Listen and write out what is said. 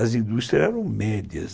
As indústrias eram médias.